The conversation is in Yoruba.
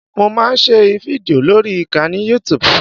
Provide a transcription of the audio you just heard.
Mo fẹ́ máa ṣe fídìò lórí ìkànnì youtube